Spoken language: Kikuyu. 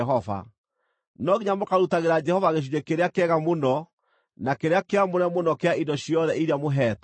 No nginya mũkarutagĩra Jehova gĩcunjĩ kĩrĩa kĩega mũno na kĩrĩa kĩamũre mũno kĩa indo ciothe iria mũheetwo.’